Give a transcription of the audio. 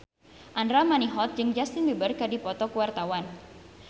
Andra Manihot jeung Justin Beiber keur dipoto ku wartawan